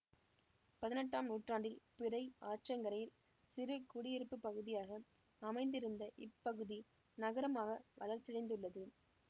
பதினெட்டாம் நூற்றாண்டில் பிறை ஆற்றங்கரையில் சிறு குடியிருப்பு பகுதியாக அமைந்திருந்த இப்பகுதி நகரமாக வளர்ச்சியடைந்துள்ளது